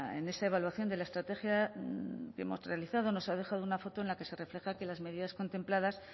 en esa evaluación de la estrategia que hemos realizado nos ha dejado una foto en la que se refleja que las medidas contempladas